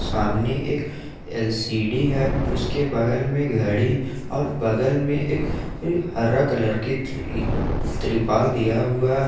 सामने एक एल_सी_डी है उसके बगल में घड़ी और बगल में एक हरा कलर की तिरपाल दिया हुआ है।